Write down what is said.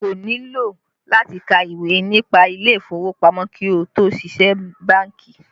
O kò nílò láti ka ìwé nípa ilé ìfowópamọ́ kí ó tó ṣiṣẹ́ bánkì